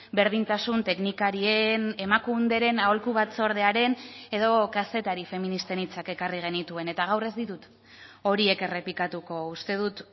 berdintasun teknikarien emakunderen aholku batzordearen edo kazetari feministen hitzak ekarri genituen eta gaur ez ditut horiek errepikatuko uste dut